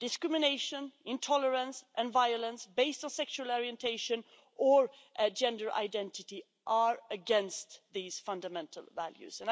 Discrimination, intolerance and violence based on sexual orientation or gender identity are against these fundamental values.